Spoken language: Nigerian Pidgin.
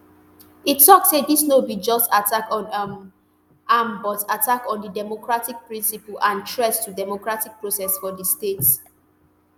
e tok say dis no be just attack on um am but attack on di democratic principle and threat to democratic process for di state